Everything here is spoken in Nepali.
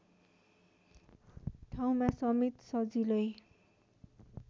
ठाउँमा समेत सजिलै